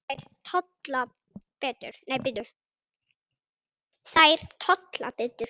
Þær tolla betur.